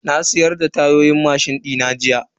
Na siyar da tayoyin mashin dina jiya.